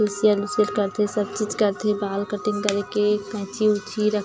फिर सनसिल्क करथे सब चीज करथे बाल कटिंग करे के कैंची उची रखे--